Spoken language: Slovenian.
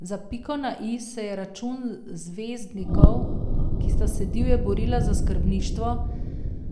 Za piko na i se je račun zvezdnikov, ki sta se divje borila za skrbništvo,